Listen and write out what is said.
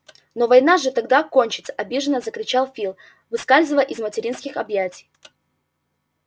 но война же тогда кончится обиженно закричал фил выскальзывая из материнских объятий